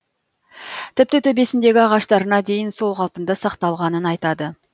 тіпті төбесіндегі ағаштарына дейін сол қалпында сақталғанын айтады